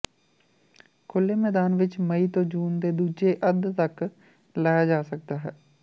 ਖੁੱਲ੍ਹੇ ਮੈਦਾਨ ਵਿੱਚ ਮਈ ਤੋਂ ਜੂਨ ਦੇ ਦੂਜੇ ਅੱਧ ਤੱਕ ਲਾਇਆ ਜਾ ਸਕਦਾ ਹੈ